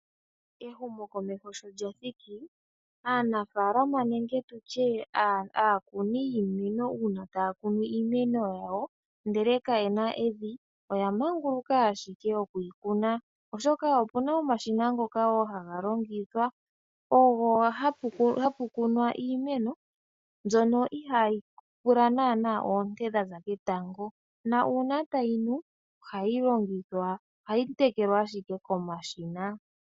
Ehumokomeho sho lya thiki aanafaalama nenge tutye aakuni yiimeno ndele kaye na evi oya manguluka ashike oku yi kuna oshoka opuna omashina ngoka wo ngoka haga longithwa ogo hapu kunwa iimeno mbyono ihayi pula naanaa oonte dhaza ketango na uuna tayi nu ohayi tekelwa ashike komashina.